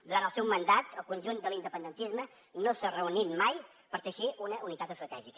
durant el seu mandat el conjunt de l’independentisme no s’ha reunit mai per teixir una unitat estratègica